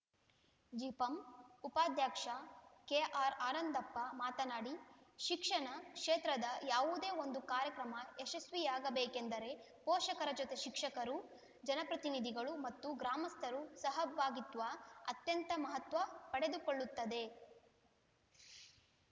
ಜಿಪಂ ಉಪಾಧ್ಯಕ್ಷ ಕೆಆರ್‌ಆನಂದಪ್ಪ ಮಾತನಾಡಿ ಶಿಕ್ಷಣ ಕ್ಷೇತ್ರದ ಯಾವುದೇ ಒಂದು ಕಾರ್ಯಕ್ರಮ ಯಶಸ್ವಿಯಾಗಬೇಕೆಂದರೆ ಪೋಷಕರ ಜೊತೆ ಶಿಕ್ಷಕರು ಜನಪ್ರತಿನಿಧಿಗಳು ಮತ್ತು ಗ್ರಾಮಸ್ಥರು ಸಹಭಾಗಿತ್ವ ಅತ್ಯಂತ ಮಹತ್ವ ಪಡೆದುಕೊಳ್ಳುತ್ತದೆ